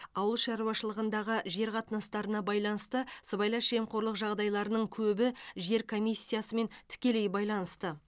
ауыл шаруашылығындағы жер қатынастарына байланысты сыбайлас жемқорлық жағдайларының көбі жер комиссиясымен тікелей байланысты